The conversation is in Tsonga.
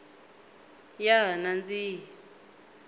ya ha nandzihi